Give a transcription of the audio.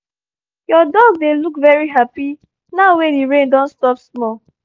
your dog dey look very happy now wey the rain don stop small